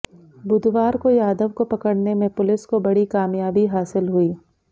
बुधवार को यादव को पकड़ने में पुलिस को बड़ी कामयाबी हासिल हुई